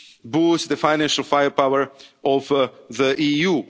boost the financial firepower